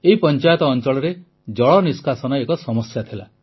ଏହି ପଂଚାୟତ ଅଂଚଳରେ ଜଳ ନିଷ୍କାସନ ଏକ ସମସ୍ୟା ଥିଲା